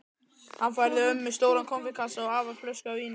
Hann færði ömmu stóran konfektkassa og afa flösku af víni.